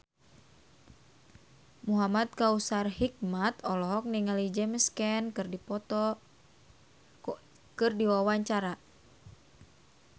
Muhamad Kautsar Hikmat olohok ningali James Caan keur diwawancara